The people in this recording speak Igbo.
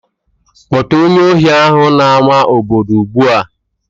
Kpọta onye ohi ahụ n'ama obodo ugbu a!